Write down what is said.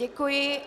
Děkuji.